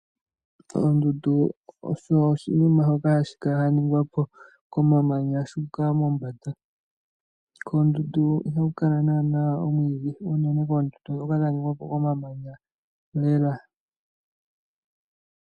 Oondundu osho oshinima shoka shaningwa po komamanya shuka mombanda, koondundu iha ku kala naana omwiidhi uunene koondundu dhoka dhningwa po momamanya lela.